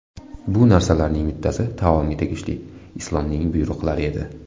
Bu narsalarning bittasi taomga tegishli Islomning buyruqlari edi.